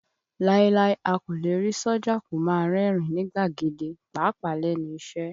Láíláí, a kò lè rí sójà kó máa rẹ́rìn ín ní gbàgede, pàápàá lẹ́nu iṣẹ́